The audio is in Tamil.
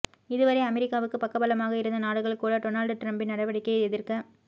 இதுவரை அமெரிக்காவுக்கு பக்க பலமாக இருந்த நாடுகள் கூட டொனால்டு டிரம்ப்பின் நடவடிக்கையை எதிர்க்க